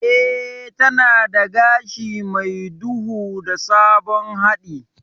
Eh, tana da gashi mai duhu da sabon haɗi.